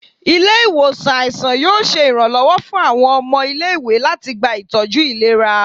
Ile-iwosan aisan yoo ṣe iranlọwọ fun awọn ọmọ ile-iwe lati gba itọju ilera